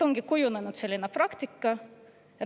Ongi kujunenud selline praktika.